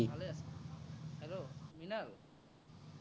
ভালেই আছে। hello মৃণাল